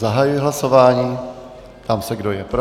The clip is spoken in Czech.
Zahajuji hlasování, ptám se, kdo je pro.